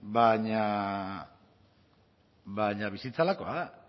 baina bizitza horrelakoa da